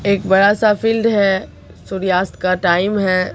एक बड़ा सा फील्ड है सूर्यास्त का टाइम है।